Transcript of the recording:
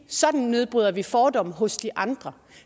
sådan nedbryder vi fordomme hos de andre